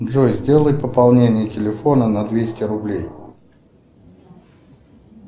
джой сделай пополнение телефона на двести рублей